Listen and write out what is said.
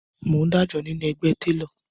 Mò ń dájọ nínú ẹgbẹ́ télọ̀